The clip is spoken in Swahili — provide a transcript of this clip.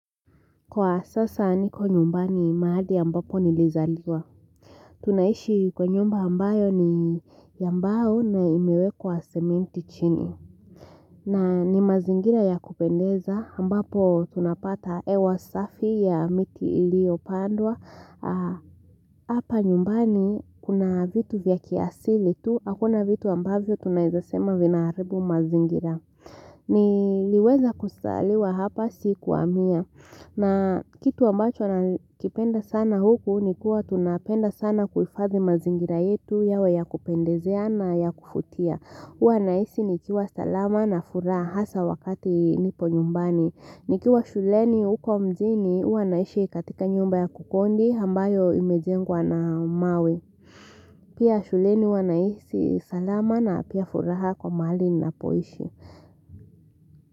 Kwa sasa niko nyumbani mahali ambapo nilizaliwa tunaishi kwa nyumba ambayo ni ya mbaylo na imewekwa sementi chini na ni mazingira ya kupendeza ambapo tunapata hewa safi ya miti iliyopandwa Hapa nyumbani kuna vitu vya kiasili tu Hakuna vitu ambavyo tunaezasema vinaharibu mazingira Niliweza kuzaliwa hapa sikuhamia na kitu ambacho wana kipenda sana huku ni kuwa tunapenda sana kuifadhi mazingira yetu yawe ya kupendezeana ya kuvutia. Huwa nahisi nikiwa salama na furaha hasa wakati nipo nyumbani. Nikiwa shuleni huko mjini huwa naishi katika nyumba ya kukodi ambayo imejengwa na mawe. Pia shuleni huwa nahisi salama na pia furaha kwa mahali ninapoishi.